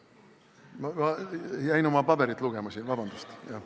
Ma jäin siin oma paberit lugema, palun vabandust!